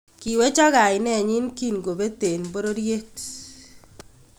Kiwechok kainenyin kiin kopet en pororyeet